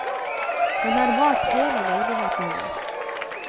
Hun har malt hele leiligheten vår.